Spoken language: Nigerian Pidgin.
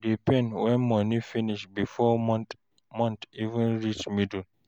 E dey pain when money finish bifor month even reach middle